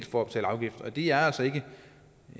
for at betale afgift og det er altså ikke